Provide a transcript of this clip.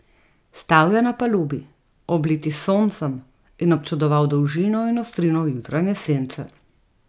Stal je na palubi, obliti s soncem, in občudoval dolžino in ostrino jutranje sence.